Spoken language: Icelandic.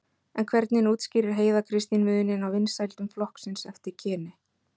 En hvernig útskýrir Heiða Kristín muninn á vinsældum flokksins eftir kyni?